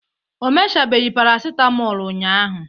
o mechabeghị paracetmol ụnyahụ